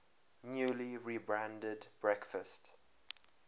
newly rebranded breakfast